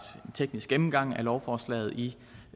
en teknisk gennemgang af lovforslaget i